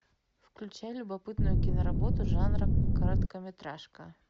включай любопытную киноработу жанра короткометражка